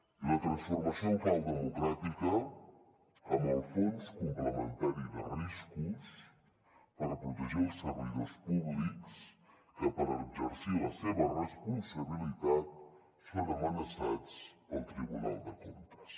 i la transformació en clau democràtica amb el fons complementari de riscos per protegir els servidors públics que per exercir la seva responsabilitat són amenaçats pel tribunal de comptes